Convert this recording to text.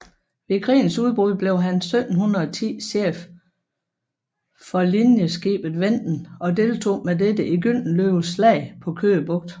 Ved krigens udbrud blev han 1710 chef for linjeskibet Venden og deltog med dette i Gyldenløves slag på Køge Bugt